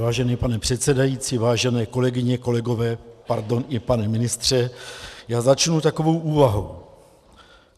Vážený pane předsedající, vážené kolegyně, kolegové, pardon, i pane ministře, já začnu takovou úvahou.